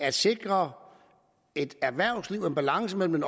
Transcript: at sikre et erhvervsliv og en balance mellem